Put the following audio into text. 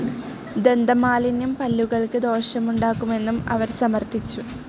ദന്തമാലിന്യം പല്ലുകൾക്ക് ദോഷമുണ്ടാക്കുമെന്നും അവർ സമർത്ഥിച്ചു.